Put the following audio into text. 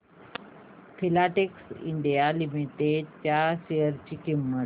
Filatex India Limited च्या share ची किंमत